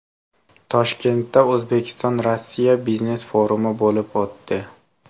Toshkentda O‘zbekistonRossiya biznes-forumi bo‘lib o‘tdi.